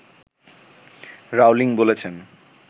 Rowling বলেছেন